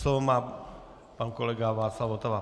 Slovo má pan kolega Václav Votava.